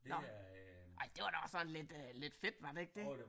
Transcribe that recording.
Nåh ej det var da også sådan lidt øh lidt fedt var det ikke det